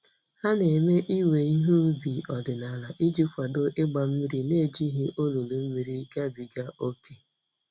Ha na-eme iwe ihe ubi ọdịnala iji kwado ịgba mmiri n'ejighị olulu mmiri gabiga ókè.